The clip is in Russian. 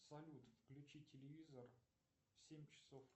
салют включи телевизор в семь часов